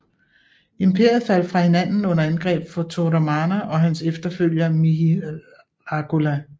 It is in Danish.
Imperiet faldt fra hinanden under angreb fra Toramana og hans efterfølger Mihirakula